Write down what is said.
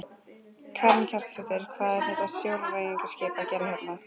Karen Kjartansdóttir: Hvað er þetta sjóræningjaskip að gera hérna?